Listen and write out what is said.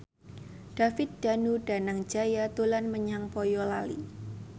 David Danu Danangjaya dolan menyang Boyolali